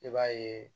I b'a ye